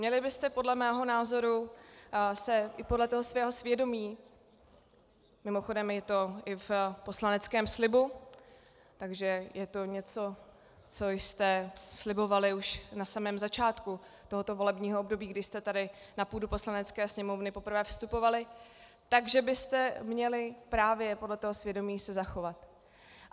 Měli byste podle mého názoru se i podle toho svého svědomí, mimochodem je to i v poslaneckém slibu, takže je to něco, co jste slibovali už na samém začátku tohoto volebního období, kdy jste tady na půdu Poslanecké sněmovny poprvé vstupovali, takže byste měli právě podle toho svědomí se zachovat.